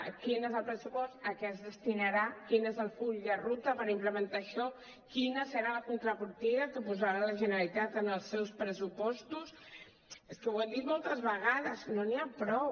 quin és el pressupost a què es destinarà quin és el full de ruta per implementar això quina serà la contrapartida que posarà la generalitat en els seus pressupostos és que ho hem dit moltes vegades no n’hi ha prou